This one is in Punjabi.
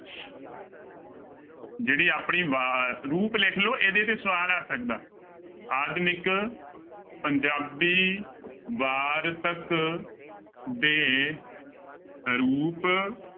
ਜਿਹੜੇ ਆਪਣੇ ਵਾ ਰੂਪ ਲਿਖ ਲਓ ਇਹਦੇ ਤੇ ਸਵਾਲ ਆ ਸਕਦਾ, ਆਧੁਨਿਕ ਪੰਜਾਬੀ ਵਾਰਤਕ ਦੇ ਰੂਪ